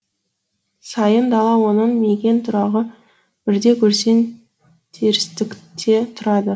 сайын дала оның мекен тұрағы бірде көрсең терістікте тұрады